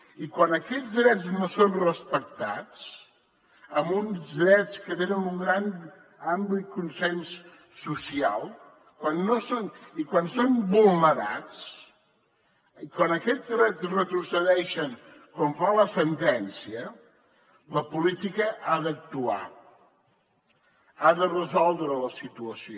i quan aquests drets no són respectats amb uns drets que tenen un gran ampli consens social i quan són vulnerats quan aquests drets retrocedeixen com fa la sentència la política ha d’actuar ha de resoldre la situació